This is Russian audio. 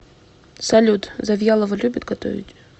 салют завьялова любит готовить